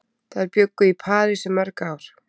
Þær bjuggu í París í mörg ár.